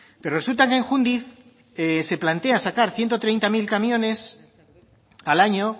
pero resulta que en jundiz se plantea sacar ciento treinta mil camiones al año